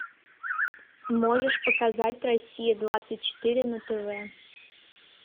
можешь показать россия двадцать четыре на тв